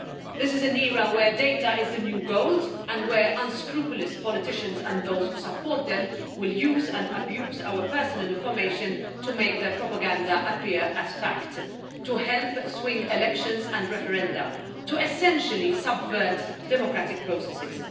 This is an era where data is the new gold and where unscrupulous politicians and those who support them will use and abuse our personal information to make their propaganda appear as fact, to help swing elections and referenda and to essentially subvert democratic processes.